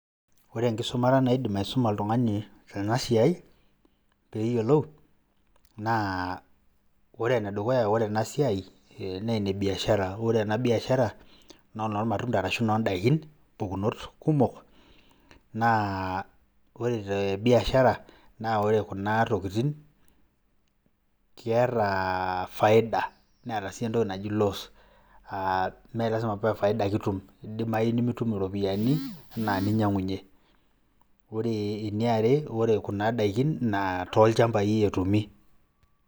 Ore inkisumata naidim aisuma oltungani ena siaai peeyelou naa ore ene dukuya ore ena siaai nee enebiashara ore ena biashara naa nolmatunda arashu noo ndakin mpukunot kumok naa ore te biashara naa ore kuna tokitin keeta faida neeta sii entoki naji loss mee lasima pa faida ake itum eidimayu nimitum iropiyiani anaa ninyangunye, ore ene are, ore kuna dakin naa too lchambai etumi.